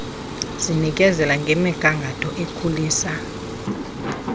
sinikezela ngemigangatho ekhulisa